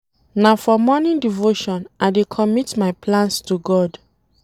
Na for morning devotion I dey commit my plans to God.